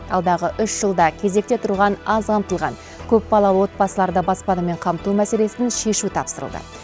алдағы үш жылда кезекте тұрған аз қамтылған көпбалалы отбасыларды баспанамен қамту мәселесін шешу тапсырылды